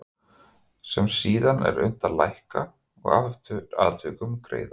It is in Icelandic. sem síðan er unnt að lækka og eftir atvikum greiða út.